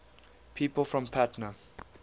people from patna